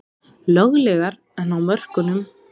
Löglegar en á mörkunum